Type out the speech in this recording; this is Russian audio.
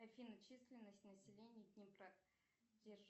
афина численность населения днепра